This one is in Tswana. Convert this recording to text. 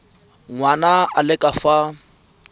ngwana a le ka fa